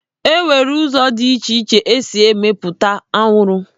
Enwere ụzọ dị iche iche esi emepụta anwụrụ.